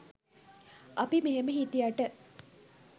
අපි මෙහෙම හිටියට